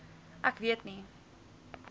ek weet nie